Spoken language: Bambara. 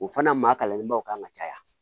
O fana maa kalanlenbaw kan ka caya